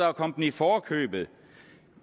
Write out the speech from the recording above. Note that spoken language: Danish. at komme dem i forkøbet